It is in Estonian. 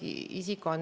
Aitäh küsimuse eest!